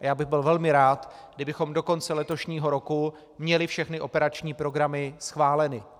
A já bych byl velmi rád, kdybychom do konce letošního roku měli všechny operační programy schváleny.